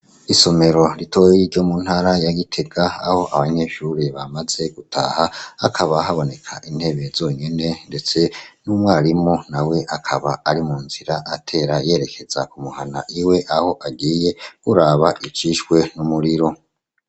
Isomero ritoyei ryo mu ntara ya Gitega aho abanyeshure bamaze gutaha akaba haboneka intebe zonyene ndetse n'umwarimu nawe akaba ari mu nzira atera yerekeza kumuhana iwe aho agiye buraba icishwe n'umuriro.